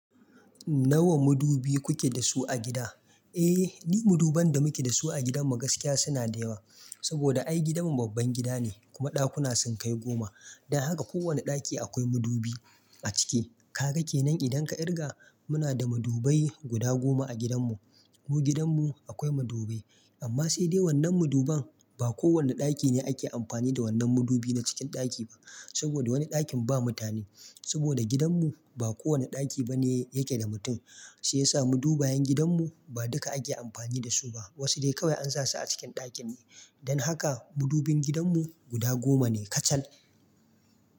Nawa madubi kuke da su a gida? Eh, ni maduban da muke da su a gidan mu gaskiya suna da yawa. Saboda ai gidanmu babban gida ne kuma ɗakuna sun kai goma. Dan haka ko wane ɗaki akwai madubi a ciki. Kaga kenan idan ka kirga muna da madubai guda goma a gidanmu. Ko gidanmu akwai madubai. Amma sai dai wannan maduban ba kowane ɗaki ne ake amfani da wannan madubi na cikin ɗaki ba. Saboda wani ɗakin ba mutane. Saboda gidanmu ba kowane ɗaki bane yake da mutum. Shiyasa madubayan gidanmu ba duka ake amfani da su ba. Wasu dai kawai an sasu a cikin ɗakin ne. Dan haka madubin gidanmu guda goma ne kacal.